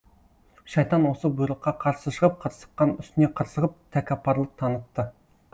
шайтан осы бұйрыққа қарсы шығып қырсыққан үстіне қырсығып тәкаппарлық танытты